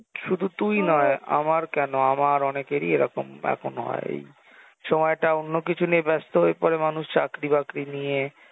শুধু তুই নয় আমার কেন, আমার অনেকেরই এইরকম এখনো হয় এই সময়টা অন্য কিছু নিয়ে ব্যস্ত হয়ে পরে মানুষ চাকরি বাকরী নিয়ে,